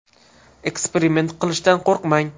Eksperiment qilishdan qo‘rqmang.